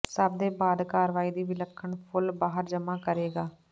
ਸਭ ਦੇ ਬਾਅਦ ਕਾਰਵਾਈ ਦੀ ਵਿਲੱਖਣ ਫੁੱਲ ਬਾਹਰ ਜਮਾ ਕਰੇਗਾ